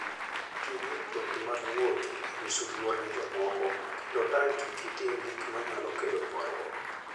Ti gi mtokni mag wuoth e nyiso luor ne jomoko, kendo tang' kik itim gik manyalo kelo ywaruok.